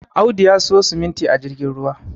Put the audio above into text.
Audu ya siyo simuti a jirgin ruwa